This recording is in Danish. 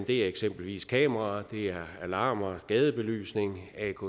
er eksempelvis kameraer det er alarmer gadebelysning atk